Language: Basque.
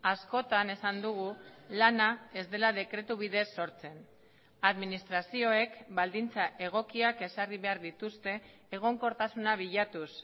askotan esan dugu lana ez dela dekretu bidez sortzen administrazioek baldintza egokiak ezarri behar dituzte egonkortasuna bilatuz